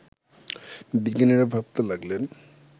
বিজ্ঞানীরা ভাবতে লাগলেন